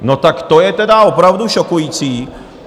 No tak to je tedy opravdu šokující.